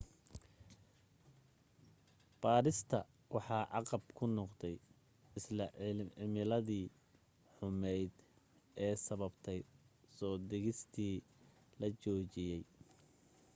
baadhista waxa caqab ku noqday isla cimiladii xumayd ee sababtay soo degistii la joojiyay